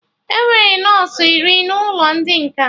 Enwere nọsụ iri n'ụlọ ndị nkà